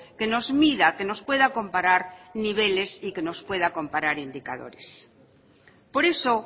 que nos mida que nos pueda comparar niveles y que nos pueda comparar indicadores por eso